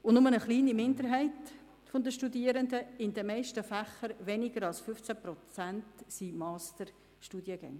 Nur eine kleine Minderheit der Studierenden, in den meisten Fächern weniger als 15 Prozent, sind Masterstudierende.